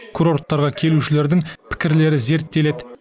курорттарға келушілердің пікірлері зерттеледі